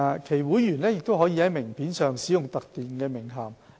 其會員亦可在名片上使用特定的名銜。